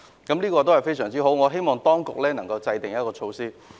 這是很好的做法，我希望當局能夠考慮。